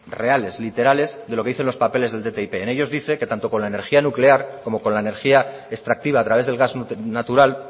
reales literales de lo que dicen los papeles del ttip en ellos dice que tanto con la energía nuclear como con la energía extractiva a través del gas natural